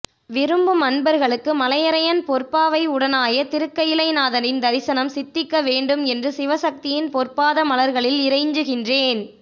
விரும்பும் அன்பர்களுக்கு மலையரையன் பொற்பாவை உடனாய திருக்கயிலை நாதரின் தரிசனம் சித்திக்க வேண்டும் என்று சிவசக்தியின் பொற்பாத மலர்களில் இறைஞ்சுகின்றேன்